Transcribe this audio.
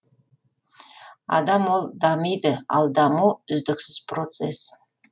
адам ол дамиды ал даму үздіксіз процесс